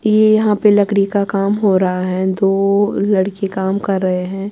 .یہ یحیٰ پی لکدی کا کام ہو رہا ہیں دوو لڑکے کام کر رہے ہیں